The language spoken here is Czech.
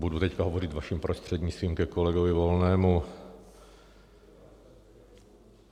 Budu teď hovořit, vaším prostřednictvím, ke kolegovi Volnému.